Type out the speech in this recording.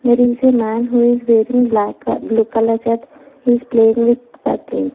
there is a man who is wearing black ca blue colour shirt he is playing with a game.